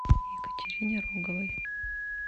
екатерине роговой